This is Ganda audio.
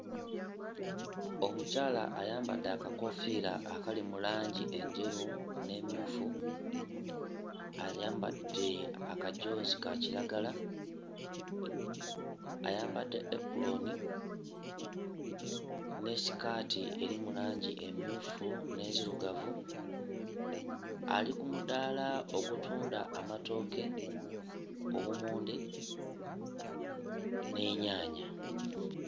Omukyala ayambadde akakoofiira akali mu langi enjeru n'emmyufu ayambadde akajoozi ka kiragala ayambadde epulooni ne sikaati eri mu langi emmyufu n'enzirugavu ali ku mudaala ogutunda amatooke, obummonde n'ennyaanya.